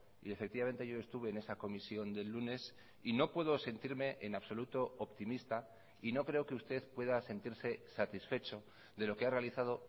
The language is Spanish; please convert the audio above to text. y efectivamente yo estuve en esa comisión del lunes y no puedo sentirme en absoluto optimista y no creo que usted pueda sentirse satisfecho de lo que ha realizado